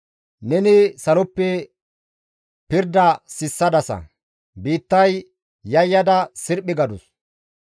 Neni saloppe pirda sissadasa; biittay yayyada sirphi gadus.